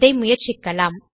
இதை முயற்சிக்கலாம்